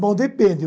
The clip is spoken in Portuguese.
Bom, depende.